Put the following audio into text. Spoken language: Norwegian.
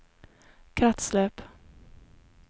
kretsløp